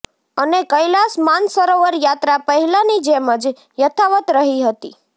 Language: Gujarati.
અને કૈલાશ માનસરોવર યાત્રા પહેલાંની જેમ જ યથાવત રહી હતી